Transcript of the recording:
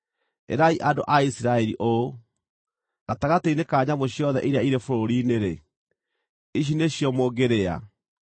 “Ĩrai andũ a Isiraeli ũũ, ‘Gatagatĩ-inĩ ka nyamũ ciothe iria irĩ bũrũri-inĩ-rĩ, ici nĩcio mũngĩrĩa: